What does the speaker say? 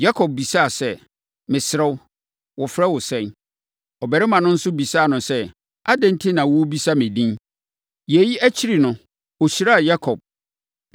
Yakob bisaa sɛ, “Mesrɛ wo, wɔfrɛ wo sɛn?” Ɔbarima no nso bisaa no sɛ, “Adɛn enti na worebisa me din?” Yei akyiri no, ɔhyiraa Yakob.